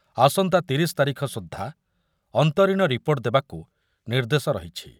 ଆସନ୍ତା ତିରିଶ ତାରିଖ ସୁଦ୍ଧା ଅନ୍ତରୀଣ ରିପୋର୍ଟ୍‌ ଦେବାକୁ ନିର୍ଦ୍ଦେଶ ରହିଛି।